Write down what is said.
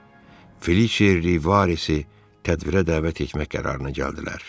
Felice Rivarezi tədbirə dəvət etmək qərarına gəldilər.